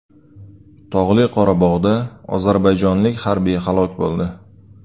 Tog‘li Qorabog‘da ozarbayjonlik harbiy halok bo‘ldi.